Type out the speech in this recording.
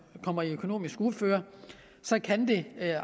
kommer i økonomisk uføre kan det